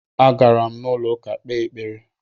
Agara m n'ụlọụka kpee ekpere